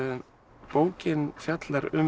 bókin fjallar um